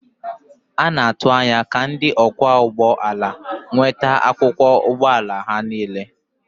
A na-atụ anya ka ndị ọkwọ ụgbọ ala nweta akwụkwọ ụgbọ ala ha niile.